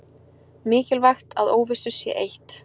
Mikilvægt að óvissu sé eytt